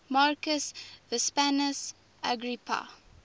marcus vipsanius agrippa